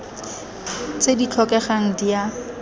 tse di tlhokegang di a